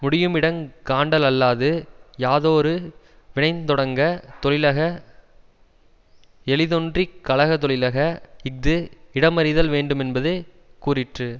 முடியுமிடங் கண்டாலல்லது யாதோரு வினைந் தொடங்க தொழிலக எளிதென்றிக் கழகதொழிலக இஃது இடமறிதல் வேண்டுமென்பது கூறிற்று